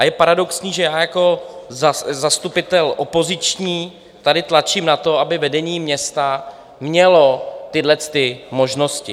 A je paradoxní, že já jako zastupitel opoziční tady tlačím na to, aby vedení města mělo tyhlety možnosti.